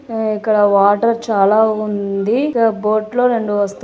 అ ఇక్కడ వాటర్ చాలా ఉంది. బోట్ లో రెండు వస్ --